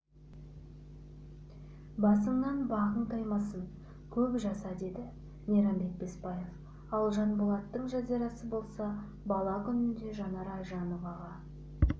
басыңнан бағың таймасын көп жаса деді мейрамбек бесбаев ал жанболаттың жазирасы болса бала күнінде жанар айжановаға